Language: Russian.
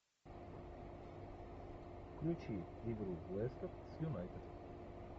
включи игру лестер с юнайтед